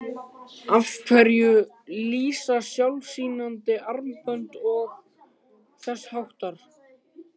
Af hverju lýsa sjálflýsandi armbönd og þess háttar?